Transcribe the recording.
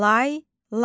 Layla.